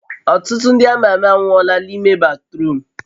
Ọtụtụ ndị ama ama anwụọla n'ime batruum